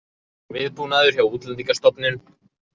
Viðbúnaður hjá Útlendingastofnun